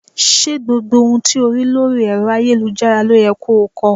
Ṣé gbogbo ohun tí o rí lórí ẹ̀rọ ayélujára ló yẹ ko ko?